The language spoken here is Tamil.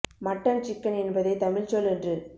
மட்டன் சிக்கன் என்பதை தமிழ்ச்சொல் என்று